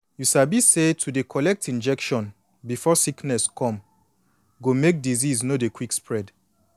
you sabi say to dey collect injection before sickness come go make disease no dey quick spread